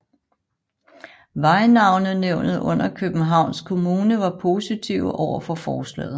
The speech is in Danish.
Vejnavnenævnet under Københavns Kommune var positive overfor forslaget